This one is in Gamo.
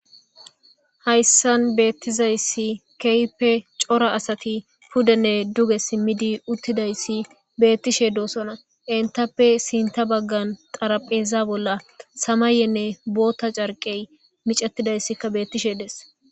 hayssan beettizayssi kehippe cora asati puddenne duge simmidi uttidayssi beettishe doosona entappe sinta baggan xarapheza bolla samayenne booththa carqey micattidayssikka beettishe dees.